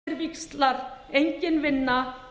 forseti vill áminna